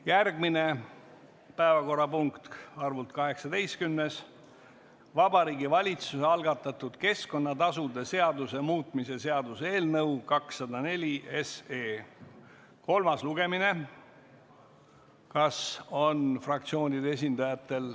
Järgmine päevakorrapunkt, arvult 18., Vabariigi Valitsuse algatatud keskkonnatasude seaduse muutmise seaduse eelnõu 204 kolmas lugemine.